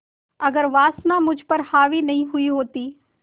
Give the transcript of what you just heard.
अगर वासना मुझ पर हावी नहीं हुई होती